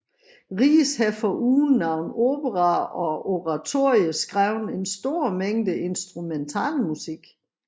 Ries har foruden nogle operaer og oratorier skrevet en stor mængde instrumentalmusik